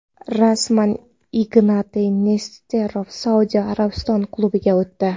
Rasman: Ignatiy Nesterov Saudiya Arabistoni klubiga o‘tdi.